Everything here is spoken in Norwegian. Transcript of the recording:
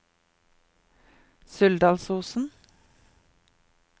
Suldalsosen